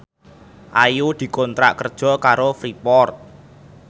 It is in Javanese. Ayu dikontrak kerja karo Freeport